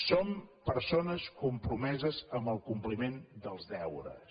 som persones compromeses amb el compliment dels deures